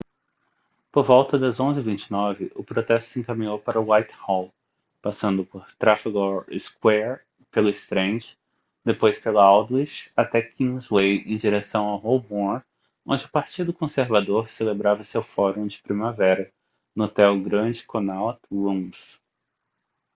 por volta das 11:29 o protesto se encaminhou para whitehall passando por trafalgar square pela strand depois pela aldwych até kingsway em direção a holborn onde o partido conservador celebrava seu fórum de primavera no hotel grand connaught rooms